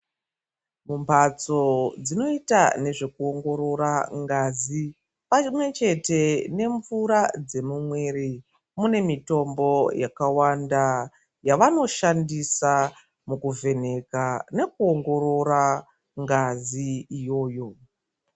Mumbatso dzinoita nezvekuongorora ngazi pamwe chete nemvura dzemumwiri mune mitombo yakawanda yavanoshandisa mukuvheneka nekuongorora ngazi iyoyo.